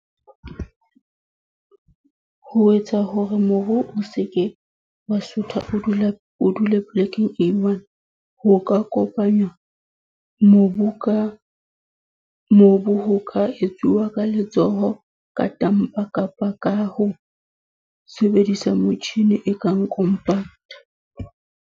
Ho etsa hore mobu o seke wa sutha o dule o dule polekeng e one. Ho ka kopanywa, mobu ka mobu ho ka etsuwa ka letsoho, ka tamper, kapa ka ho sebedisa motjhini e kang compact.